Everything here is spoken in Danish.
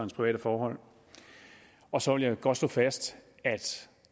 private forhold og så vil jeg godt slå fast at